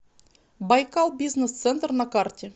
байкал бизнес центр на карте